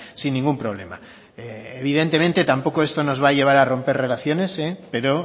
sin ningún problema evidentemente tampoco esto nos va a llevar a romper relaciones pero